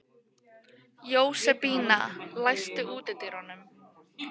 Jósebína, læstu útidyrunum.